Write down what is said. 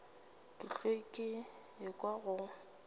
ke hlwa ke ekwa go